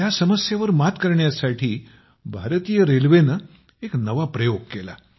ह्या समस्येवर मात करण्यासाठी भारतीय रेल्वेने एक नवा प्रयोग केला